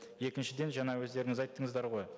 екіншіден жаңа өздеріңіз айттыңыздар ғой